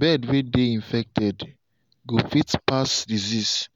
bird way they infected go fit pass disease